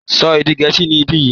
Sọ èdè Gẹẹsi ni bayi!